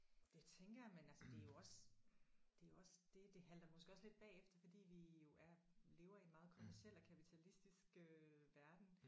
Det tænker jeg man altså det er jo også det er jo også det det halter måske også lidt bagefter fordi vi jo er lever i en meget kommerciel og kapitalistisk øh verden